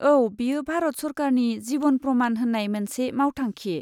औ, बेयो भारत सोरखारनि जिभन प्रमान होन्नाय मोनसे मावथांखि।